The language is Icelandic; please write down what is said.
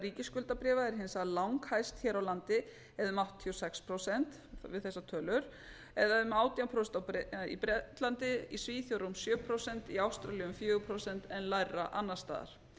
ríkisskuldabréfa er hins vegar langhæst hér á landi eða um áttatíu og sex prósent við þessar tölur en um átján prósent í bretlandi í svíþjóð rúm sjö prósent í ástralíu um fjögur prósent en lægra annars staðar